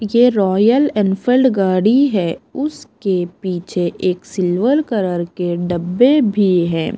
ये Royal Enfield गाड़ी है उसके पीछे एक सिल्वर कलर के डब्बे भी हैं।